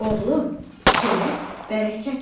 Oğlum, çörək bərəkətdir.